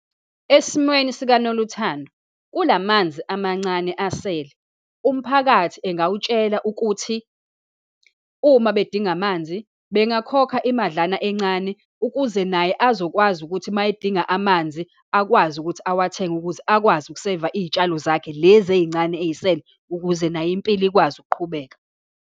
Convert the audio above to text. Esimweni sikaNoluthando, kula manzi amancane asele, umphakathi engawutshela ukuthi uma bedinga amanzi, bengakhokha imadlana encane ukuze naye azokwazi ukuthi, uma edinga amanzi akwazi ukuthi awathenge ukuze akwazi ukuseyiva izitshalo zakhe, lezi eyincane eyisele ukuze naye impilo ikwazi ukuqhubeka.